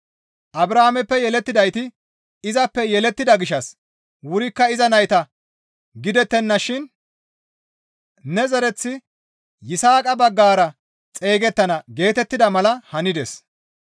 Abrahaameppe yelettidayti izappe yelettida gishshas wurikka iza nayta gidettennashin, «Ne zereththi Yisaaqa baggara xeygettana» geetettida mala hanides.